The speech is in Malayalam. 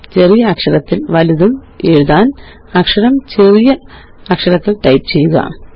ചെറിയ അക്ഷരത്തില് വല്ലതും എഴുതാന് അക്ഷരം ചെറിയ അക്ഷരത്തില് ടൈപ്പ് ചെയ്യുക